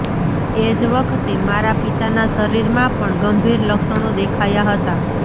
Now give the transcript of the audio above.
એ જ વખતે મારા પિતાના શરીરમાં પણ ગંભીર લક્ષણો દેખાયા હતા